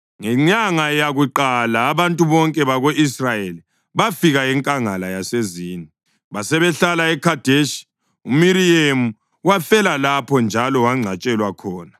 Ngenyanga yakuqala abantu bonke bako-Israyeli bafika enkangala yaseZini, basebehlala eKhadeshi. UMiriyemu wafela lapho njalo wangcwatshelwa khona.